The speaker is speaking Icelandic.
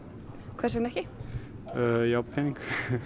hvers vegna ekki ég á pening